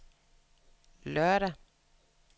lørdag